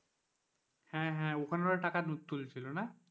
হ্যাঁ হ্যাঁ ওখানেও টাকা তুলছিল না,